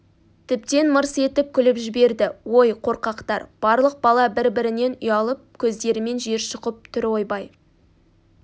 тіптен мырс етіп күліп жіберді ой қорқақтар барлық бала бір-бірінен ұялып көздерімен жер шұқып түр ойбай